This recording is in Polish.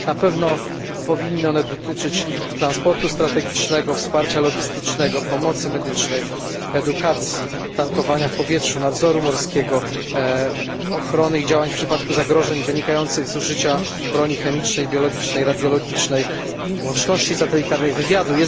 Na pewno powinny one dotyczyć transportu strategicznego, wsparcia logistycznego, pomocy medycznej, edukacji, tankowania w powietrzu, nadzoru morskiego, ochrony i działań w przypadku zagrożeń wynikających z użycia broni chemicznej i biologicznej, radiologicznej, łączności satelitarnej, wywiadu.